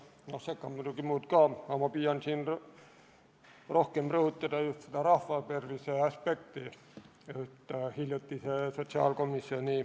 Ma püüan sotsiaalkomisjoni liikmena rohkem rõhutada just rahva tervise aspekti.